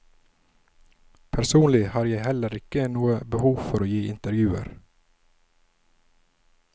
Personlig har jeg heller ikke noe behov for å gi intervjuer.